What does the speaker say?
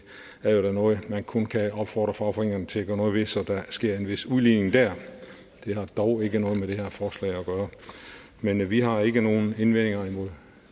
er jo da noget man kun kan opfordre fagforeningerne til at gøre noget ved altså så der sker en vis udligning der det har dog ikke noget med det her forslag at gøre men vi har ikke nogen indvendinger imod